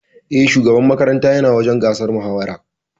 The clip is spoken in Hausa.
E, shugaban makaranta yana wajen gasar mahawarar.